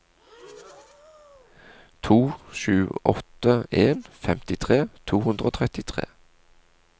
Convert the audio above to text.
to sju åtte en femtitre to hundre og trettitre